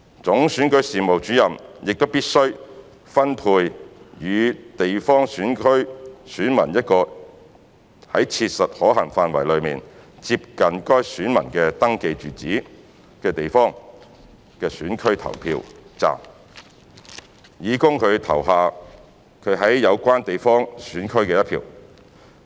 總選舉事務主任亦必須分配予地方選區選民一個在切實可行範圍內接近該選民的登記住址的地方選區投票站，以供他投下他在有關地方選區的一票。